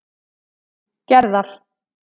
Gerðar